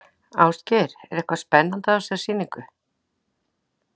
Ásgeir, er eitthvað spennandi á þessari sýningu?